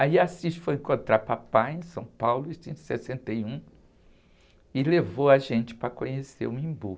Aí Assis foi encontrar o papai em São Paulo, isso em sessenta e um, e levou a gente para conhecer o Embu.